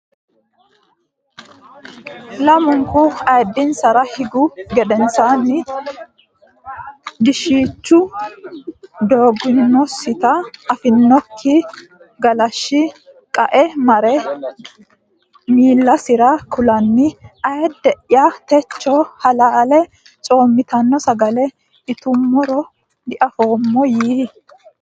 Lamunku ayiddinsara higgu gedensaanni diishshichu doginosita afinokki galashshi qae mare miillasira kulanni Ayidde ya techo halaale coommitanno sagale itummoro diafoommo yii !